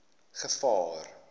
gevaar